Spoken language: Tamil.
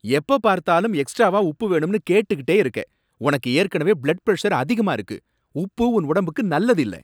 எப்பப் பார்த்தாலும் எக்ஸ்ட்ராவா உப்பு வேணும்னு கேட்டுட்டே இருக்க! உனக்கு ஏற்கனவே பிளட் பிரஷர் அதிகமா இருக்கு, உப்பு உன் உடம்புக்கு நல்லது இல்ல.